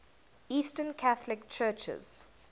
eastern catholic churches